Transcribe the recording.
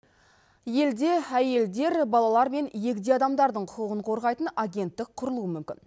елде әйелдер балалар мен егде адамдардың құқығын қорғайтын агенттік құрылуы мүмкін